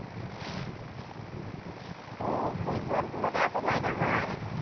ও ওই ঘর গুলো তে এত জায়গা হয়?